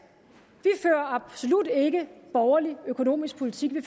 og absolut ikke borgerlig økonomisk politik vi